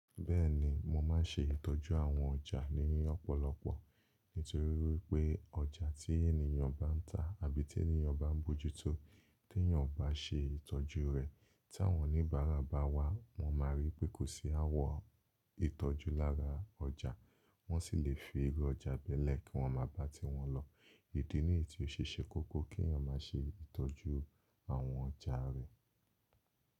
Bẹ́ẹ̀ni, mo máa ń ṣe ìtọ́jú àwọn ọjà ní ọ̀pọ̀lọpọ̀. Nítorí wípé ọjà tí ènìyàn bá ń tà àbí tí ènìyàn bá ń bojútó, tí èyàn bá ṣe ìtọ́jú rẹ̀, tí àwọn oníbàárà bá wá, wọ́n máa ríi pé kò sí àwọ̀ ìtọ́jú lára ọjà, wọ́n sì lè fi irú ọjà bẹ́ẹ̀ lẹ̀ kí wọ́n máa bá ti wọn lọ. Ìdí nìyí tí ó ṣe kókó kí èyàn máa ṣe ìtọ́jú àwọn ọjà rẹ̀.